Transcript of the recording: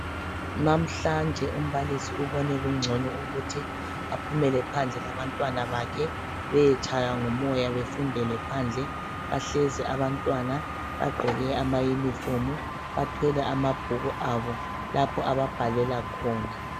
Namhlanje umbalisi ubone kungcono ukuthi aphumele phandle labantwana bakhe beyetshaywa ngumoya befundele phandle . Bahlezi abantwana bagqoke ama uniform bathwele amabhuku abo lapho ababhalela khona .